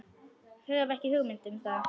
Hef ekki hugmynd um það.